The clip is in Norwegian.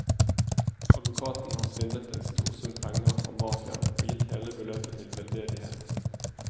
Advokaten har svindlet en stor sum penger fra mafiaen og gitt hele beløpet til veldedighet.